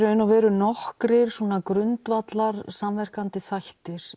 nokkrir grundvallar samvirkandi þættir